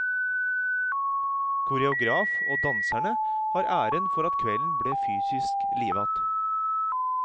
Koreograf og danserne har æren for at kvelden ble fysisk livat.